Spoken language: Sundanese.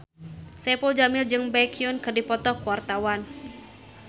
Saipul Jamil jeung Baekhyun keur dipoto ku wartawan